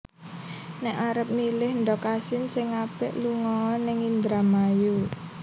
Nek arep milih ndog asin sing apik lungo o ning Indramayu